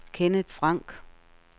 Kenneth Frank